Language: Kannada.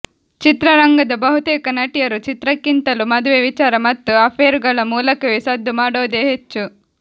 ಚಿತ್ರರಂಗದ ಬಹುತೇಕ ನಟಿಯರು ಚಿತ್ರಕ್ಕಿಂತಲೂ ಮದುವೆ ವಿಚಾರ ಮತ್ತು ಅಫೇರುಗಳ ಮೂಲಕವೇ ಸದ್ದು ಮಾಡೋದೇ ಹೆಚ್ಚು